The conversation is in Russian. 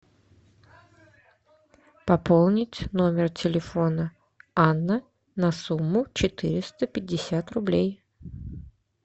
пополнить номер телефона анна на сумму четыреста пятьдесят рублей